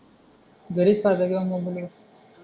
घरीच पाहता किंवा मोबाईलवर